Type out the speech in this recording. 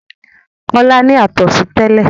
Kọ́lá ní àtọ̀sí tẹ́lẹ̀.